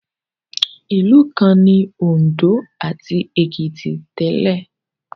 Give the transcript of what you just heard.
Ìlú kan ni Òǹdó ati Èkìtì tẹ́lẹ̀